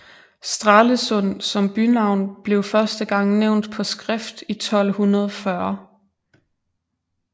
Stralesund som bynavn blev første gang nævnt på skrift i 1240